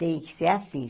Tem que ser assim.